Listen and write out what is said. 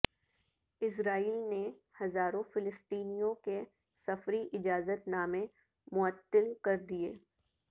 اسرائیل نے ہزاروں فلسطینیوں کے سفری اجازت نامے معطل کر دیے